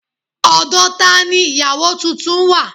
Ọ̀dọ̀ tani ìyáwo tuntun wà